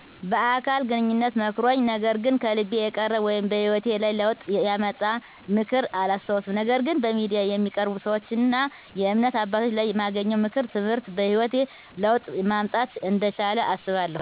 በአካል ግንኙነት መክሮኝ ነገር ግን ከልቤ የቀረ ወይም በሂወቴ ላይ ለውጥ ያመጣ ምክር አላስታውስም ነገር ግን በሚዲያ የሚቀርቡ ሰወችና የእምነት አባቶች ላይ ማገኘው ምክር(ትምህርት) በሂወቴ ለውጥ ማምጣት እንደቻለ አስባለሁ።